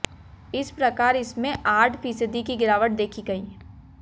इस प्रकार इसमें आठ फीसदी की गिरावट देखी गई